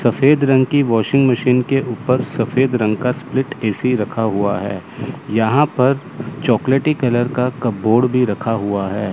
सफेद रंग की वाशिंग मशीन के ऊपर सफेद रंग का स्प्लिट ए_सी रखा हुआ है यहां पर चॉकलेटी कलर का कपबोर्ड भी रखा हुआ है।